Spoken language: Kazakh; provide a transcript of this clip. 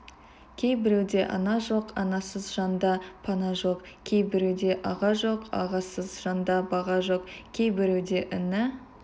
кейбіреуде ана жоқ анасыз жанда пана жоқ кейбіреуде аға жоқ ағасыз жанда баға жоқ кейбіреуде іні